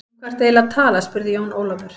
Um hvað ertu eiginlega að tala spurði Jón Ólafur.